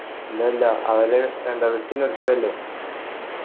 ഇല്ല ഇല്ല അവല് എന്താ വിട്ട് നിർത്തല്ലേ